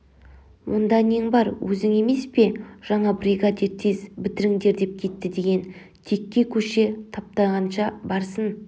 онда нең бар өзің емес пе жаңа бригадир тез бітіріңдердеп кетті деген текке көше таптағанша барсын